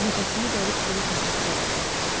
Nəfəsimi dərib sizə təşəkkür eləmək istəyirəm.